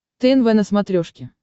тнв на смотрешке